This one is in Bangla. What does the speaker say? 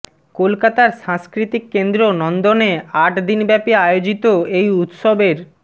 কলকাতার সাংস্কৃতিক কেন্দ্র নন্দনে আট দিনব্যাপী আয়োজিত এই উৎসবের